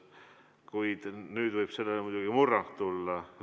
Kuid nüüd võib sellele muidugi murrang tulla.